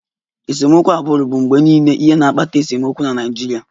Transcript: Esemokwu agbụrụ bụ mgbe niile ihe na-akpata esemokwu na Naịjirịa